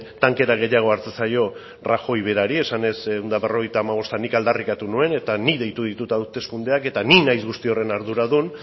tankera gehiago hartzen zaio rajoy berari esanez ehun eta berrogeita hamabost eta nik aldarrikatu nuen eta nik deitu ditut hauteskundeak eta ni naiz guzti horren arduradun